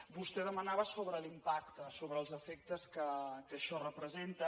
vostè demanava sobre l’impacte sobre els efectes que això representa